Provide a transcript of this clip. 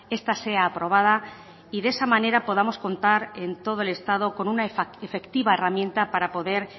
esta sea aprobada y de esa manera podamos contar en todo el estado con una efectiva herramienta para poder